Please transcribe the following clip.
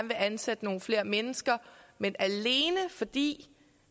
vil ansætte nogle flere mennesker men alene fordi